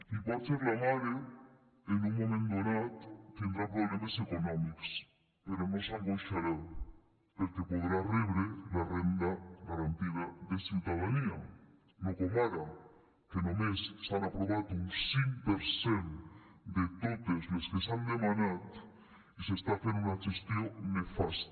i potser la mare en un moment donat tindrà problemes econòmics però no s’angoixarà perquè podrà rebre la renda garantida de ciutadania no com ara que només s’han aprovat un cinc per cent de totes les que s’han demanat i s’està fent una gestió nefasta